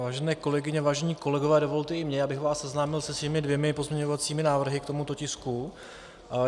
Vážené kolegyně, vážení kolegové, dovolte i mně, abych vás seznámil se svými dvěma pozměňovacími návrhy k tomuto tisku.